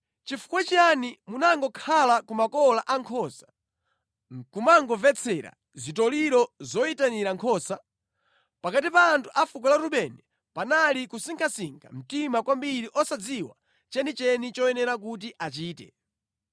Chifukwa chiyani munangokhala ku makola a nkhosa nʼkumangomvetsera zitoliro zoyitanira nkhosa? Pakati pa anthu a fuko la Rubeni panali kusinkhasinkha mtima kwambiri osadziwa chenicheni choyenera kuti achite.